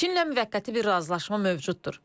Çinlə müvəqqəti bir razılaşma mövcuddur.